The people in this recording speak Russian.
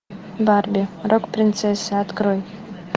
барби рок принцесса открой